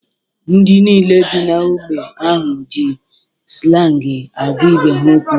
Ndị niile bi n'ógbè ahụ ji slangi agwa ibe ha okwu